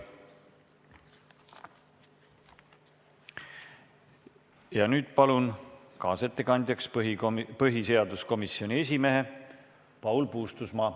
Ja nüüd palun kaasettekandjaks põhiseaduskomisjoni esimehe Paul Puustusmaa.